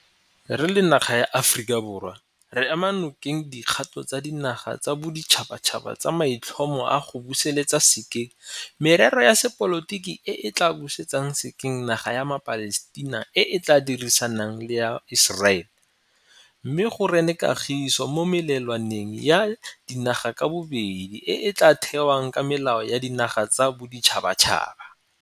Re le naga ya Aforika Borwa re ema nokeng dikgato tsa dinaga tsa boditšhabatšhaba tsa maitlhomo a go busetsa sekeng merero ya sepolotiki e e tla busetsang sekeng naga ya maPalestina e e tla dirisanang le ya Iseraele, mme go rene kagiso mo melelwaneng ya dinaga ka bobedi e e tla thewang ka melao ya dinaga tsa boditšhabatšhaba.